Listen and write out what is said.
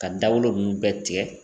Ka dagolo nunnu bɛɛ tigɛ